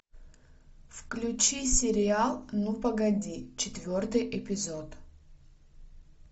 включи сериал ну погоди четвертый эпизод